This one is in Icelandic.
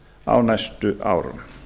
á næstu árum